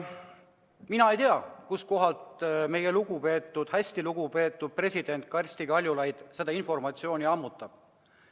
Mina ei tea, kuskohast meie lugupeetud, hästi lugupeetud president Kersti Kaljulaid seda informatsiooni ammutab.